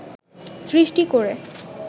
সৃষ্টি করে